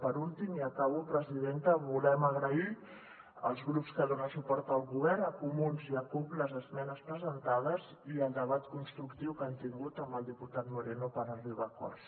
per últim i acabo presidenta volem agrair als grups que donen suport al go·vern als comuns i a la cup les esmenes presentades i el debat constructiu que han tingut amb el diputat moreno per arribar a acords